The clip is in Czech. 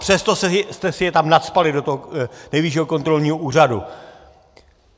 Přesto jste si je tam nacpali, do toho Nejvyššího kontrolního úřadu!